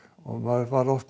maður var oft